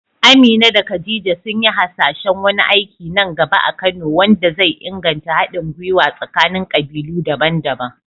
Amina da Khadija sun yi hasashen wani aiki nan gaba a Kano wanda zai inganta haɗin gwiwa tsakanin kabilu daban-daban.